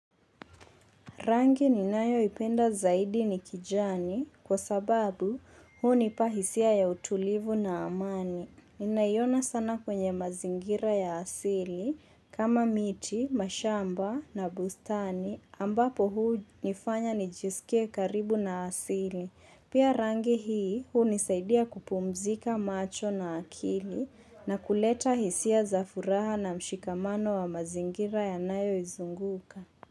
Rangi ninayoipenda zaidi ni kijani kwa sababu hunipa hisia ya utulivu na amani. Ninaiona sana kwenye mazingira ya asili kama miti, mashamba na bustani ambapo hunifanya nijisikie karibu na asili. Pia rangi hii hunisaidia kupumzika macho na akili na kuleta hisia za furaha na mshikamano wa mazingira yanayoizunguka.